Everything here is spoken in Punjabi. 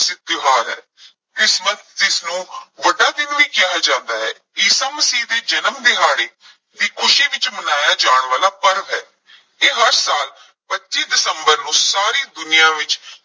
ਪ੍ਰਸਿੱਧ ਤਿਉਹਾਰ ਹੈ ਕ੍ਰਿਸਮਸ ਜਿਸ ਨੂੰ ਵੱਡਾ ਦਿਨ ਵੀ ਕਿਹਾ ਜਾਂਦਾ ਹੈ, ਈਸਾ ਮਸੀਹ ਦੇ ਜਨਮ ਦਿਹਾੜੇ ਦੀ ਖੁਸ਼ੀ ਵਿੱਚ ਮਨਾਇਆ ਜਾਣ ਵਾਲਾ ਪਰਵ ਹੈ ਇਹ ਹਰ ਸਾਲ ਪੱਚੀ ਦਸੰਬਰ ਨੂੰ ਸਾਰੀ ਦੁਨੀਆਂ ਵਿਚ